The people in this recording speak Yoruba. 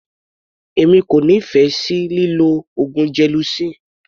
Èmi kò nífẹ̀ẹ́ lílọ oògùn gelocin.